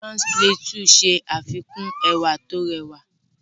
Jos Plateau ṣe àfikún ẹwà tó rẹwà.